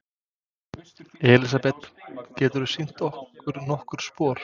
Elísabet: Geturðu sýnt okkur nokkur spor?